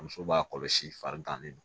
Muso b'a kɔlɔsi farigan de don